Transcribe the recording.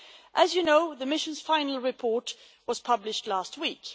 As you know, the mission's final report was published last week.